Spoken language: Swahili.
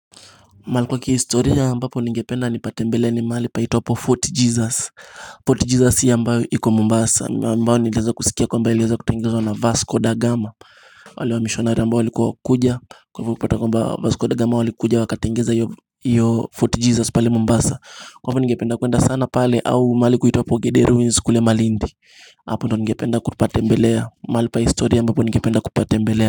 Mahali kwa kihistoria, ambapo ningependa nipate mbele ni mahali panaitwapo Fort Jesus, Fort Jesus ambayo iko mombasa ambao niliweza kuskia kwamba iliweza kutengenezwa na Vasco da Gama wale wa mishonari ambao walikuwa wakuja, kwa hivyo kupata kwamba Vasco da Gama walikuja wakatengeza hiyo Fort Jesus pale mombasa, Kwa hivo ningependa kwenda sana pale, au mahali kuitwapo Gede Ruins kule malindi Hapo ndio ningependa kupatembelea, mahali pa historia ambapo ningependa kupatembelea.